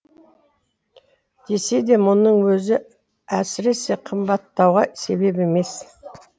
десе де мұның өзі әсіресе қымбаттатуға себеп емес